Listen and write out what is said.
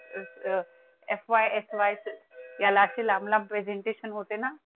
याला अस लांब लांब presentation होते ना?